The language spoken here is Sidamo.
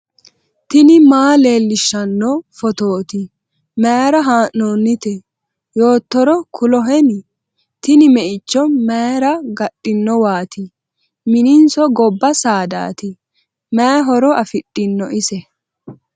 tini maa leellishshanno phootooti mayra haa'noonnite yoottoro kuloheni ? tini meicho mayra gadhinowaati miniso gobba saadaati ? mayi horo afidhin ise ?